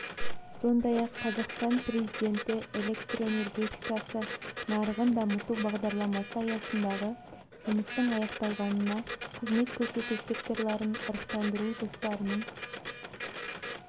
сондай-ақ қазақстан президенті электр энергетикасы нарығын дамыту бағдарламасы аясындағы жұмыстың аяқталғанына қызмет көрсету секторларын ырықтандыру жоспарының